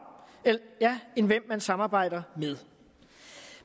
end hvem man samarbejder med